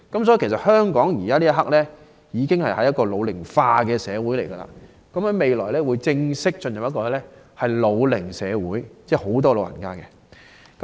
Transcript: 所以，香港現時已是"老齡化社會"，未來更會正式進入"老齡社會"，有更多長者。